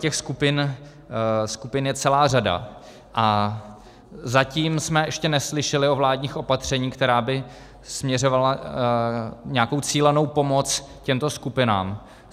Těch skupin je celá řada a zatím jsme ještě neslyšeli o vládních opatřeních, která by směřovala nějakou cílenou pomoc těmto skupinám.